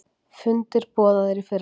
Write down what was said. Fundir boðaðir í fyrramálið